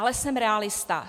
Ale jsem realista.